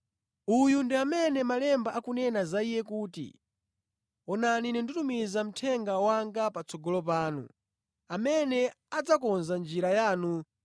Uyu ndi amene malemba akunena za iye kuti, “Ine ndidzatuma mthenga wanga patsogolo panu amene adzakonza njira yanu.